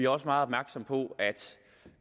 også meget opmærksomme på at